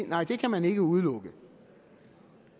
nej det kan man ikke udelukke